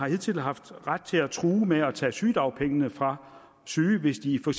hidtil har haft ret til at true med at tage sygedagpengene fra syge hvis de for